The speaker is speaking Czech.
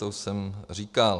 To už jsem říkal.